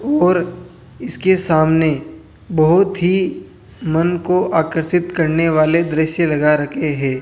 और इसके सामने बहोत ही मन को आकर्षित करने वाले दृश्य लगा रखे हैं।